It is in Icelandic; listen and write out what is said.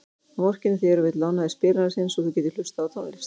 Hann vorkennir þér og vill lána þér spilarann sinn svo þú getir hlustað á tónlist.